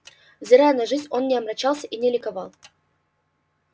взирая на жизнь он не омрачался и не ликовал